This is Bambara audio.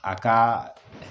A ka